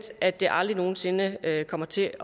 at det aldrig nogen sinde kommer til